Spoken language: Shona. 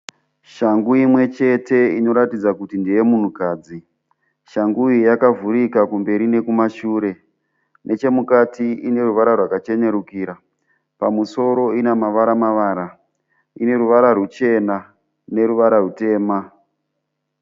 Shangu imwe chete inoratidza kuti ndeye munhukadzi. Shangu iyi yakavhurika kumberi nekumashure. Nechemukati ine ruvara rwakachenerukira. Pamusoro ine mavara mavara. Ine ruvara rwuchena neruva rwutema.